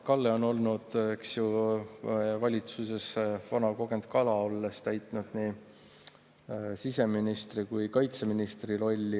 Kalle on olnud, eks ju, valitsuses vana kogenud kala, olles täitnud nii siseministri kui ka kaitseministri rolli.